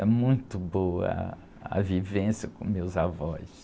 É muito boa ah, a vivência com meus avós.